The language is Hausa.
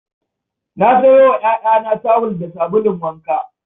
Na sayo wa 'ya'yana tawul da sabulun wanka.